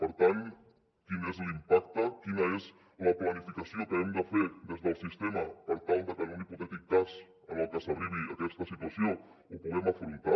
per tant quin és l’impacte quina és la planificació que hem de fer des del sistema per tal de que en un hipotètic cas en el que s’arribi a aquesta situació ho puguem afrontar